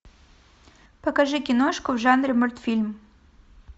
покажи киношку в жанре мультфильм